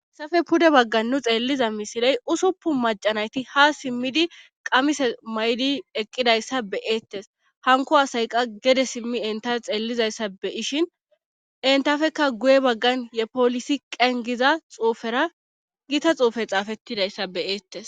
Haysafe pude baggan nu xeelliza misiley usupu macanayti ha simmidi qamise may7di eqqidayssa beyeettes hanko asayqa gede simmi entafe xeellizayssa be ishin entafeka guye baggan yepolisi qengiza xuufera gita xuufe xaafettidayssa beyeettes